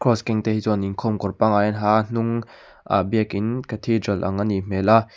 cross keng te hi chuanin khawm kawr panggai an ha a a hnung ah biakin ang anih hmel a.